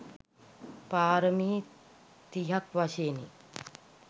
පාරමි තිහක් වශයෙනි.